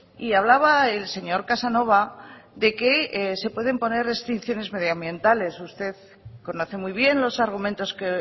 y hablaba el señor casanova de que se pueden poner restricciones medioambientales usted conoce muy bien los argumentos que